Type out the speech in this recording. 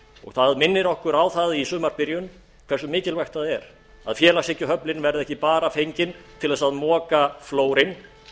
það minnir okkur á það í sumarbyrjun hversu mikilvægt það er að félagshyggjuöflin verði ekki bara fengin til þess að moka flórinn